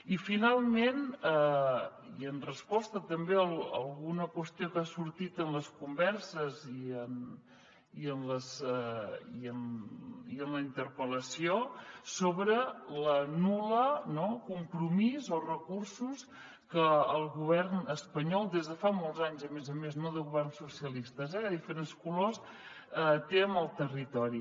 i finalment i en resposta també a alguna qüestió que ha sortit en les converses i en la interpel·lació sobre el nul compromís o recursos que el govern espanyol des de fa molts anys a més a més no de governs socialistes eh de diferents colors té amb el territori